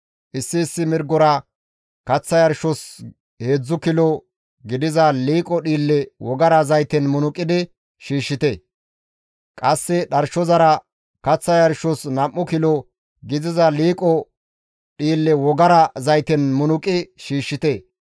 Issi issi mirgora kaththa yarshos heedzdzu kilo gidiza liiqo dhiille wogara zayten munuqidi shiishshite; qasse dharshozara kaththa yarshos nam7u kilo gidiza liiqo dhiille wogara zayten munuqi shiishshite.